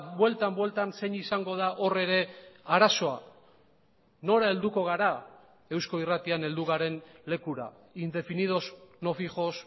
bueltan bueltan zein izango da hor ere arazoa nora helduko gara eusko irratian heldu garen lekura indefinidos no fijos